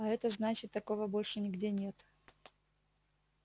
а это значит такого больше нигде нет